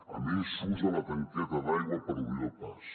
a més s’usa la tanqueta d’aigua per obrir el pas